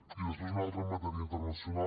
i després una altra en matèria internacional